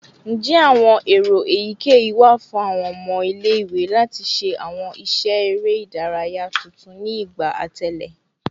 Njẹ awọn ero eyikeyi wa fun awọn ọmọ ile-iwe lati ṣe awọn iṣẹ ere idaraya tuntun ni igba atẹle?